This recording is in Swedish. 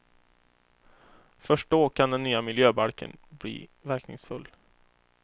Först då kan den nya miljöbalken bli verkningsfull.